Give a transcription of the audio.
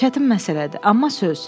Çətin məsələdir, amma söz.